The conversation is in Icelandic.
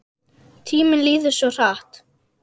Tíminn líður svo hratt.